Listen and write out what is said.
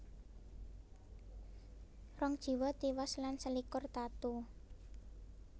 Rong jiwa tiwas lan selikur tatu